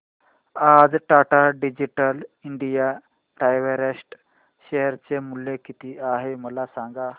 आज Tata digital India direct share चे मूल्य किती आहे मला सांगा